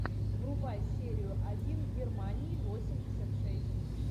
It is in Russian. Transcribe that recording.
врубай серию один германии восемьдесят шесть